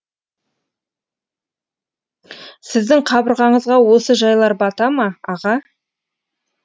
сіздің қабырғаңызға осы жайлар бата ма аға